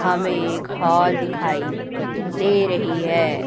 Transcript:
हमें एक हॉल दिखाई दे रही है।